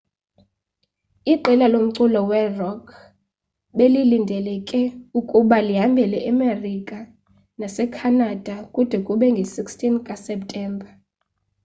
iqela lomculo werock belilindeleke ukuba lihambele emerika nasecanada kude kube ngee-16 zikaseptemba